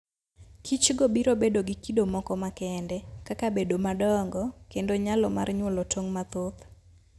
Kichgo biro bedo gi kido moko makende, kaka bedo madongo kendo nyalo mar nyuolo tong' mathoth.